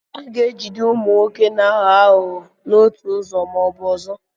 A ga-ejide ụmụ nwoke na-aghọ aghụghọ n'otu ụzọ ma ọ bụ ọzọ.